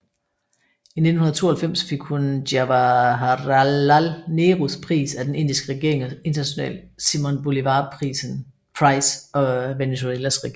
I 1992 fik hun Jawaharlal Nehrus Pris af den Indiske regering og International Simón Bolívar Prize af Venezuelas regering